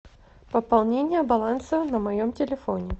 пополнение баланса на моем телефоне